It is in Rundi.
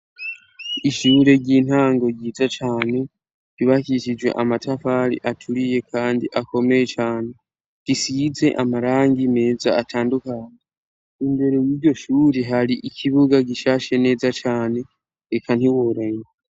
Ishure ry'intango ryiza cane ribakishijwe amatafari aturiye, kandi akomeye cane risize amarang i meza atandukanye imbere w'iryo shuri hari ikibuga gishashe neza cane eka ntiworanye.